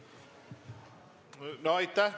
Aitäh!